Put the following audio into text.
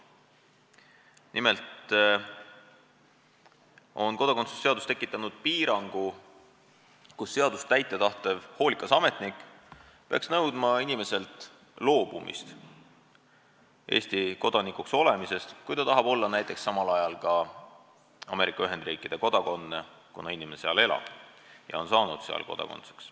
Nimelt on kodakondsuse seadus loonud piirangu, mille kohaselt seadust täita tahtev hoolikas ametnik peaks nõudma inimeselt loobumist Eesti kodanikuks olemisest, kui ta tahab olla samal ajal ka näiteks Ameerika Ühendriikide kodanik, kuna inimene seal elab ja on saanud seal kodanikuks.